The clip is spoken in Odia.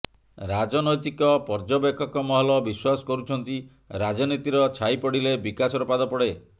ରାଜନୈତିକ ପର୍ଯ୍ୟବେକ୍ଷକ ମହଲ ବିଶ୍ବାସ କରୁଛନ୍ତି ରାଜନୀତିର ଛାଇ ପଡିଲେ ବିକାଶର ପାଦ ପଡେ